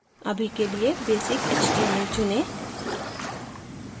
अभी के लिए basic html चुनें